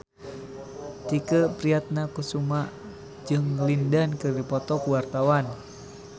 Tike Priatnakusuma jeung Lin Dan keur dipoto ku wartawan